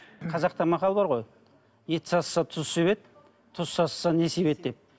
қазақта мақал бар ғой ет сасыса тұз себеді тұз сасыса не себеді деп